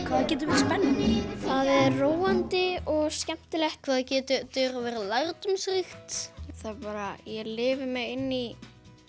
það getur verið spennandi það er róandi og skemmtilegt hvað það getur verið lærdómsríkt það bara ég lifi mig inn í